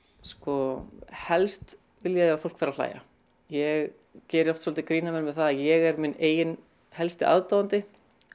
sko helst vil ég að fólk fari að hlæja ég geri oft svolítið grín að mér með það að ég er minn eigin helsti aðdáandi